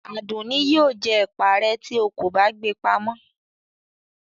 Adunni yio jẹ ẹpa re ti o kọ ba gbe pàmọ